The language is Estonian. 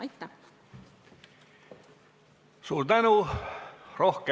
Aitäh!